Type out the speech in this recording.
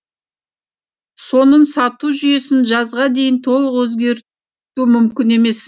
соның сату жүйесін жазға дейін толық өзгерту мүмкін емес